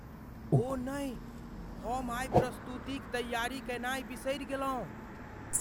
ओह नहि! हम आइ प्रस्तुतिक तैयारी कयनाय बिसरि गेलहुँ।